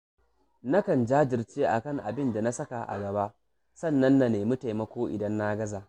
Nakan jajirce a kan bin da na saka a gaba, sannan na nemi taimako idan na gaza